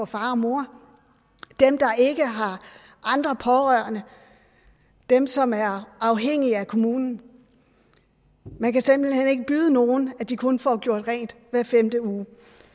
far og mor dem der ikke har andre pårørende dem som er afhængige af kommunen man kan simpelt hen ikke byde nogen at de kun får gjort rent hver femte uge